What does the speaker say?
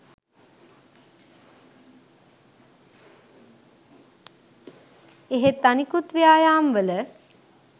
එහෙත් අනෙකුත් ව්‍යායාම්වල